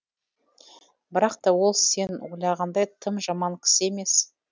бірақ та ол сен ойлағандай тым жаман кісі емес